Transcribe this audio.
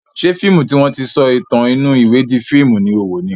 Ṣé fíìmù tí wọ́n ti sọ ìtàn inú ìwé di fíìmù ni o wò ni?